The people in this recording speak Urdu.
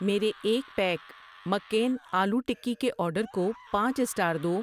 میرے ایک پیک مک کین آلو ٹکی کے آرڈر کو پانچ سٹار دو۔